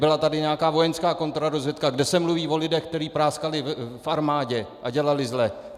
Byla tady nějaká vojenská kontrarozvědka, kde se mluví o lidech, kteří práskali v armádě a dělali zle.